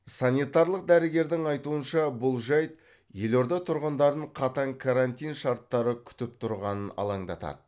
санитарлық дәрігердің айтуынша бұл жайт елорда тұрғындарын қатаң карантин шарттары күтіп тұрғанын алаңдатады